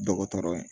Dɔgɔtɔrɔ ye